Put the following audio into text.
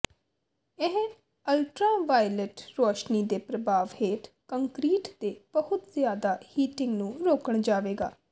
ਇਹ ਅਲਟਰਾਵਾਇਲਟ ਰੋਸ਼ਨੀ ਦੇ ਪ੍ਰਭਾਵ ਹੇਠ ਕੰਕਰੀਟ ਦੇ ਬਹੁਤ ਜ਼ਿਆਦਾ ਹੀਟਿੰਗ ਨੂੰ ਰੋਕਣ ਜਾਵੇਗਾ